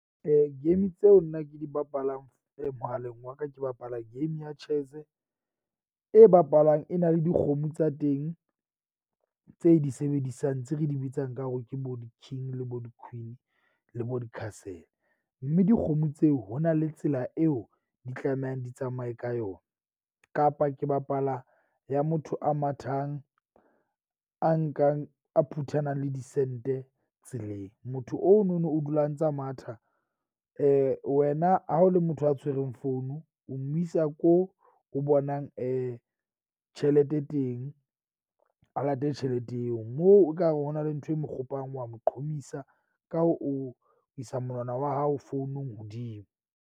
Game tseo nna ke di bapalang mohaleng wa ka ke bapala game ya chess-e e bapalwang e na le dikgomo tsa teng tse di sebedisang tse re di bitsang ka hore ke bo di-king le bo di-queen le bo di-castle. Mme dikgomo tseo ho na le tsela eo di tlamehang di tsamaye ka yona, kapa ke bapala ya motho a mathang a nkang a phuthanang le disente tseleng. Motho ono no o dula a ntsa matha wena ha o le motho a tshwereng founu, o mo isa ko o bonang tjhelete teng, a late tjhelete eo. Moo ekare ho na le ntho e mo kgopolang, wa mo qhomisa, ka hoo o isa monwana wa hao founong hodimo.